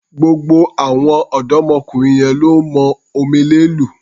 Gbogbo àwọn ọ̀dọ́mọkùnrin yẹn lọ́ mọ omele lù.